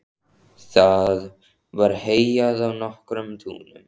Það var heyjað á nokkrum túnum.